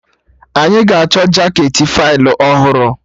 Anyị ga-achọ jaketị Faịlụ ọhụrụ